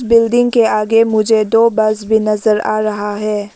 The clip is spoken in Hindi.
बिल्डिंग के आगे मुझे दो बस भी नजर आ रहा है।